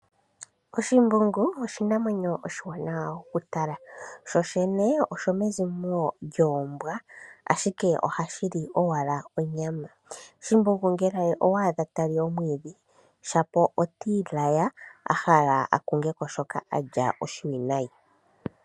Oshimbungu oshinamwenyo oshiwanawa oku tala. Sho shene oshomezimo lyoombwa, ashike ohashi li owala onyama. Shimbungu ngele owa adha ta li omwiidhi shapo oti i laya a hala akungeko shoka a lya oshiwinayi.